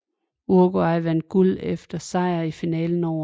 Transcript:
Uruguay vandt guld efter sejr i finalen over